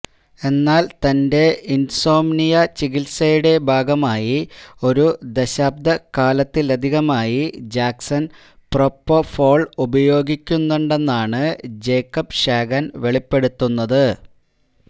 എന്നാൽ തന്റെ ഇൻസോംമ്നിയ ചികിത്സയുടെ ഭാഗമായി ഒരു ദശാബ്ദക്കാലത്തിലധികമായി ജാക്സൻ പ്രൊപോഫോൾ ഉപയോഗിക്കുന്നുണ്ടെന്നാണ് ജേക്കബ്ഷാഗൻ വെളിപ്പെടുത്തുന്നത്